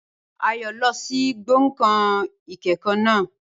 Ayọ̀ lọ sí gbọ̀ngàn ìkẹ́kọ̀ọ́ naa